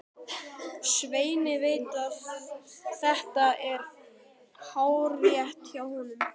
Svenni veit að þetta er hárrétt hjá honum.